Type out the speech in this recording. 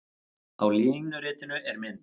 Á línuritinu á mynd